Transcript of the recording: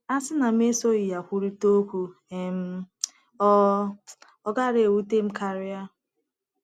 A sị na mụ esoghị ya kwurịta okwu, um ọ um ọ gaara ewute m karị. ”